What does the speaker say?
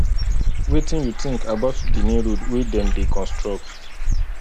wetin you think about di new road wey dem dey construct